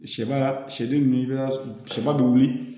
Sɛba y'a sɛ min i bɛ sɛba bɛ wuli